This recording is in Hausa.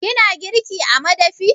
Kina girki a madafi?